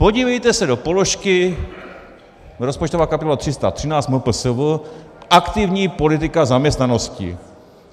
Podívejte se do položky - rozpočtová kapitola 313 MPSV, aktivní politika zaměstnanosti.